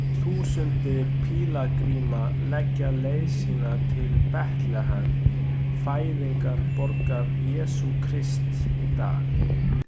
Tugþúsundir pílagríma leggja leið sína til Betlehem, fæðingarborgar Jesú Krists í dag.